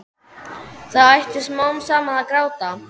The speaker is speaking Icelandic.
Það hætti smám saman að gráta.